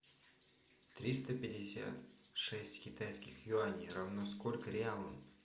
триста пятьдесят шесть китайских юаней равно сколько реалам